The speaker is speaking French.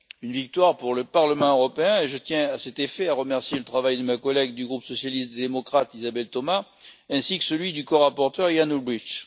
C'est une victoire pour le Parlement européen et je tiens, à cet égard, à remercier le travail de ma collègue du groupe des socialistes et démocrates, Isabelle Thomas, ainsi que celui du corapporteur, Jan Olbrycht.